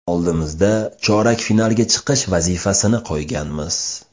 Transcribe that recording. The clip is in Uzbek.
Oldimizda chorak finalga chiqish vazifasini qo‘yganmiz.